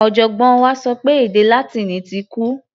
Ọ̀jọ̀gbọ́n wa sọ pé èdè Látíìnì ti kú.